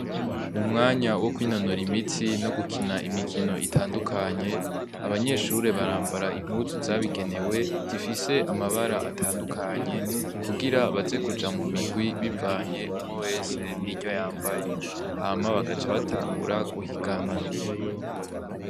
Mu mwanya wo kwinonora imitsi no gukina imikino itandukanye, abanyeshure barambara impuzu zabigenewe zifise amabara atandukanye, kugira baze kuja mu murwi bivanye umwe wese niryo yambaye, hama bakaca batangura guhiganwa.